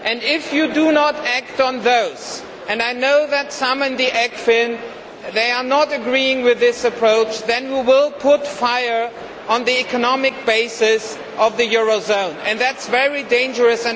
If you do not act on those and I know that some in the Ecofin do not agree with this approach then we will be setting fire to the economic basis of the eurozone and that is very dangerous.